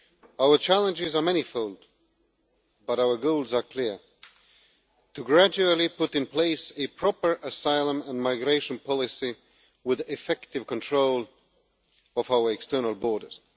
Our challenges are manifold but our goals are clear to gradually put in place a proper asylum and migration policy with effective control of our external borders.